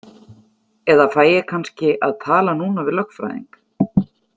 Eða fæ ég kannski að tala núna við lögfræðing?